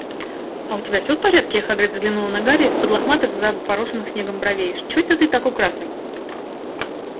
а у тебя всё в порядке хагрид взглянул на гарри из-под лохматых запорошённых снегом бровей чой-то ты такой красный